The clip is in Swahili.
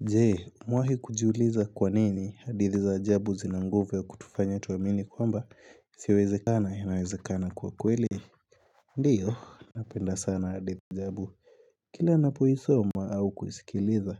Jee, umewahi kujiuliza kwa nini hadithi za ajabu zina nguvu kutufanya tuwamini kwamba yasyowezekana inawezekana kuwa kweli Ndiyo, napenda sana hadithi ajabu Kila ninapo isoma au kuisikiliza